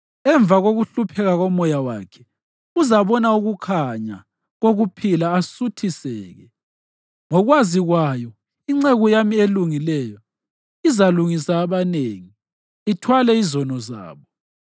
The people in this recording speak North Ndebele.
Emva kokuhlupheka komoya wakhe, uzabona ukukhanya kokuphila asuthiseke; ngokwazi kwayo inceku yami elungileyo izalungisa abanengi, ithwale izono zabo.